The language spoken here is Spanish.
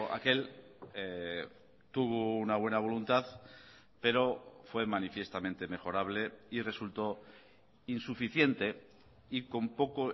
aquel tuvo una buena voluntad pero fue manifiestamente mejorable y resultó insuficiente y con poco